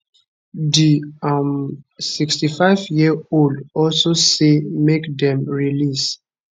di um 65yearold also say make dem release